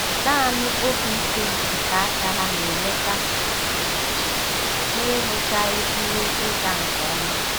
Naanị obi ike nke aka ha na-enweta ha kwa ụbọchị - na-enwechaghị ihe ịga nke ọma.